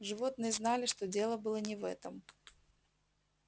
животные знали что дело было не в этом